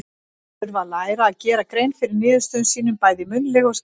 Þeir þurfa að læra að gera grein fyrir niðurstöðum sínum, bæði munnlega og skriflega.